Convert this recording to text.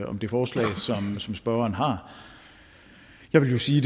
om det forslag som spørgeren har jeg vil sige